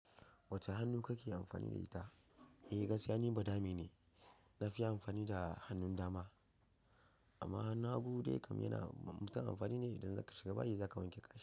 Wacce hannu kake amfani da ita? Eh gaskiya ni badame ne, na fi amfani da hannun dama. Amma hannun hagu dai kam yana musam amfani ne idan ka shiga bayi za ka wanke kashi.